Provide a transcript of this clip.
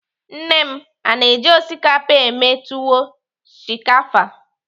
Nne m na-eji osikapa eme tuwo shinkafa.